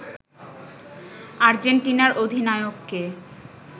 আর্জেন্টিনার অধিনায়ককে